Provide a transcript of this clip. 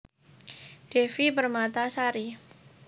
Devi Permatasari